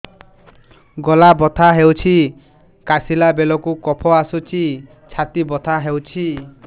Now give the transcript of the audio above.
ଗଳା ବଥା ହେଊଛି କାଶିଲା ବେଳକୁ କଫ ଆସୁଛି ଛାତି ବଥା ହେଉଛି